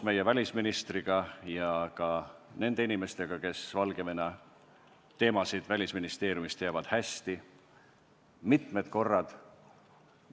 Oleme välisministriga ja nende Välisministeeriumi inimestega, kes Valgevene teemasid hästi teavad, mitmed korrad koos aru pidanud.